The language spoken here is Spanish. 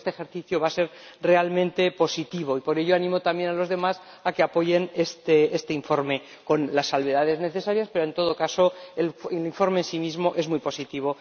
Yo creo que este ejercicio va a ser realmente positivo y, por ello, animo también a los demás a que apoyen este informe, con las salvedades necesarias, pero, en todo caso, el informe en sí mismo es muy positivo.